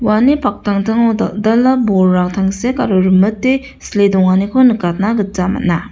uani paktangtango dal·dala bolrang tangsek aro rimite sile donganiko nikatna gita man·a.